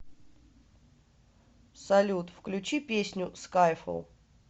салют включи песню скайфолл